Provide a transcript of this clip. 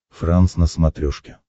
франс на смотрешке